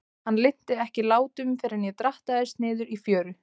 Hann linnti ekki látum fyrr en ég drattaðist niður í fjöru.